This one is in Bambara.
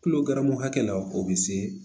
Kulo ganran hakɛ la o bɛ se